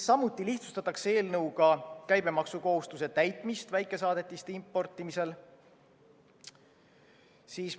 Samuti lihtsustatakse eelnõuga käibemaksukohustuse täitmist väikesaadetiste importimisel.